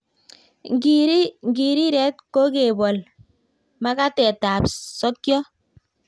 Ng'iriret ko kebol makatetab sokiot.